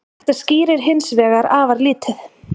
Þetta skýrir hins vegar afar lítið.